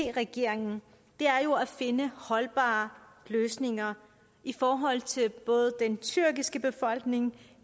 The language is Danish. regeringen er jo at finde holdbare løsninger i forhold til både den tyrkiske befolkning